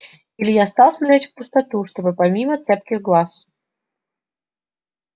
илья стал смотреть в пустоту чтобы мимо цепких глаз